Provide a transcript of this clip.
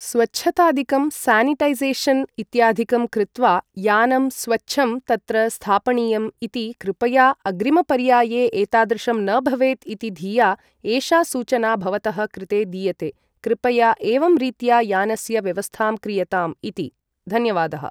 स्वच्छताधिकं sanitization इत्याधिकं कृत्वा यानं स्वच्छं तत्र स्थापणीयम् इति कृपया अग्रिमपर्याये एतादृशं न भवेत् इति धिया एषा सूचना भवतः कृते दीयते कृपया एवं रीत्या यानस्य व्यवस्थां क्रियताम् इति धन्यवादः